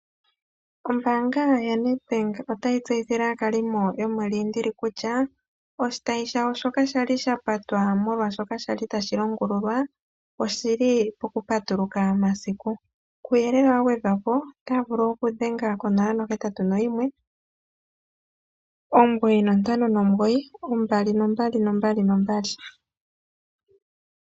Ombaanga ya NedBank otayi tseyithile aakalimo yo moLindili kutya, oshitayi shoka sha li sha pata molwashoka kwali tashi longululwa, oshi li pokupatuluka masiku. Kuuyelele wa gwedhwa po otaya vulu okudhenga ko 0819592222.